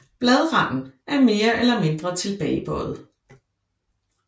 Bladranden er mere eller mindre tilbagebøjet